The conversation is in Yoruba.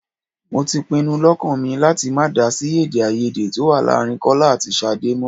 Mo ti pinu lọ́kàn mi láti má dá sí èdè-áiyedé tó wà láàárín Kọ́lá àti Ṣadé mọ́.